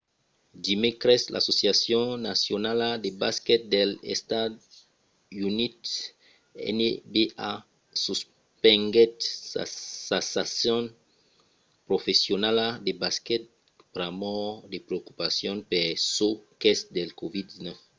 dimècres l'associacion nacionala de basquet dels estats units nba suspenguèt sa sason professionala de basquet pr'amor de preocupacions per çò qu'es del covid-19